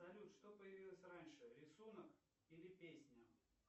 салют что появилось раньше рисунок или песня